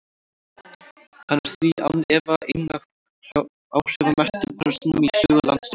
Hann er því án efa ein af áhrifamestu persónum í sögu landsins.